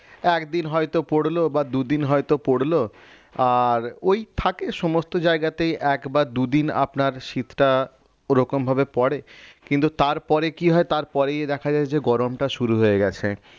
একদিন হয়তো পড়লো বা দুদিন হয়তো পরলো আর ওই থাকে সমস্ত জায়গাতেই একবার দুদিন আপনার শীতটা ওরকম ভাবে পরে কিন্তু তারপরে কি হয় তারপরেই দেখা যায় যে গরমটা শুরু হয়ে গেছে